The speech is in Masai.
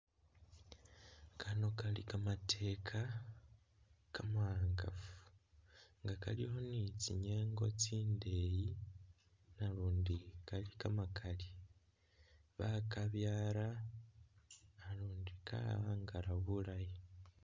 Kano Kali kamateka kama'angafu nga kalikho ni tsinyengo tsindeyi nalundi Kali kamakaali, bakabyala nalundi ka'angala bulaayi